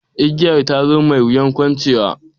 Igiyar zato, mai wuyar kuncewa.